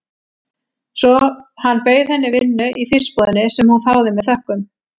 Svo hann bauð henni vinnu í fiskbúðinni, sem hún þáði með þökkum.